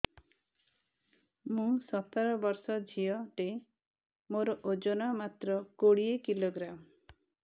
ମୁଁ ସତର ବର୍ଷ ଝିଅ ଟେ ମୋର ଓଜନ ମାତ୍ର କୋଡ଼ିଏ କିଲୋଗ୍ରାମ